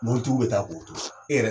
Mobili tigiw bɛ taa k'o to so e yɛrɛ